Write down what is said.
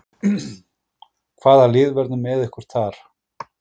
Hvaða lið verða með ykkur þar?